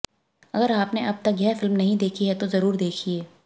अगर आपने अब तक यह फिल्म नहीं देखी है तो जरूर देखिए